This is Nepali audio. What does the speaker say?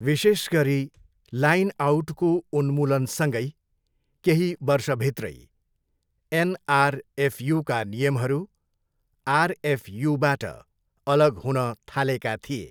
विशेष गरी लाइन आउटको उन्मूलनसँगै केही वर्षभित्रै एनआरएफयुका नियमहरू आरएफयुबाट अलग हुन थालेका थिए।